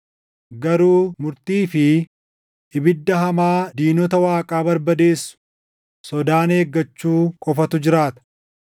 garuu murtii fi ibidda hamaa diinota Waaqaa barbadeessu sodaan eeggachuu qofatu jiraata.